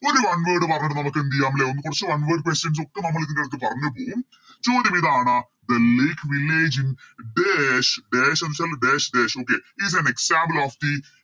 ഒരു One word mark കൂടി നമുക്കെന്തെയ്യം ലെ കൊറച്ച് One word questions ഒക്കെ നമ്മള് ഇതിൻ്റെത്ത് പറഞ്ഞ് പോകും ചോദ്യമിതാണ് The lake village in dash dash എന്നുവെച്ചാല് Dash dash okay give some example of the